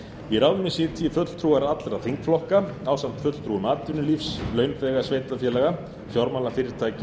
í ráðinu sitji fulltrúar allra þingflokka ásamt fulltrúum atvinnulífs launþega sveitarfélaga fjármálafyrirtækja